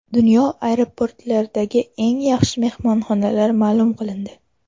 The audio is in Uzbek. Dunyo aeroportlaridagi eng yaxshi mehmonxonalar ma’lum qilindi.